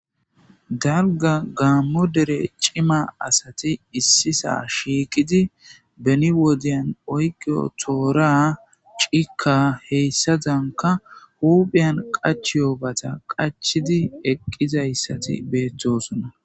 Dalga gaammo dere cima asati issisa shiikidi beni wodyan oyqio toora cika heyssazanka huuphiyan qach yoobata qachidi eqqizayssati beettosona.